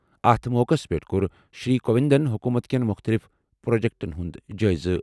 اَتھ موقعَس پٮ۪ٹھ کوٚر شری کووِنٛدَن حکوٗمت کٮ۪ن مُختٔلِف پروجیکٹَن ہُنٛد جٲیزٕ۔